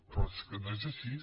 però és que no és així